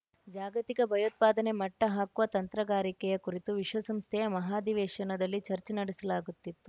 ಜಾಗತಿಕ ಭಯೋತ್ಪಾದನೆ ಮಟ್ಟಹಾಕುವ ತಂತ್ರಗಾರಿಕೆಯ ಕುರಿತು ವಿಶ್ವಸಂಸ್ಥೆಯ ಮಹಾಧಿವೇಶನದಲ್ಲಿ ಚರ್ಚೆ ನಡೆಸಲಾಗುತ್ತಿತ್ತು